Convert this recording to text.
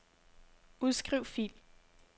Udskriv fil.